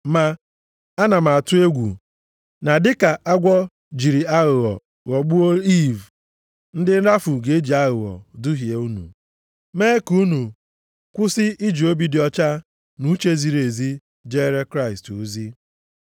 Ma ana m atụ egwu, na dịka agwọ jiri aghụghọ ghọgbuo Iiv, ndị nrafu ga-eji aghụghọ duhie unu, mee ka unu kwụsị iji obi dị ọcha na uche ziri ezi jeere Kraịst ozi.